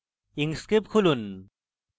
inkscape খুলুন